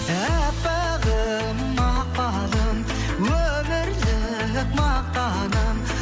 әппағым мақпалым өмірлік мақтаным